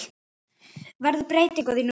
Verður breyting á því núna?